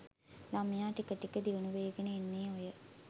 ළමයා ටික ටික දියුණු වේගෙන එන්නේ ඔය